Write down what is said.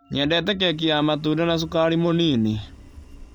Nyendete keki ya matunda na cukari mũnin.